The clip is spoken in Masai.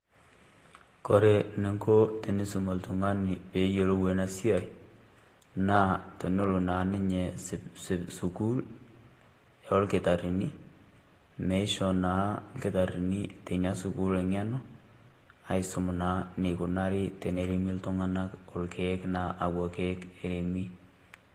Kore ining'o eniisum oltung'ani pee eyiolou ena siai naa pee elo naa ninye sukuul ilkitarrini neisho naa ilkitarrini teina sukuul eng'eno aisum naa eneikuni eneremi iltung'anak naa akwa kiek eremi.